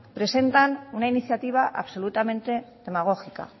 presentan una iniciativa absolutamente demagógica